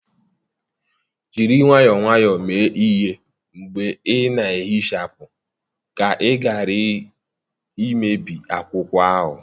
Jiri nwayọọ nwayọọ mee ihe mgbe ị na-ehichapụ ka ị ghara imebi akwụkwọ ahụ.